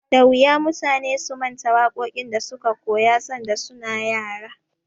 Da wuya mutane su manta waƙoƙin da suka koya sanda su na yara.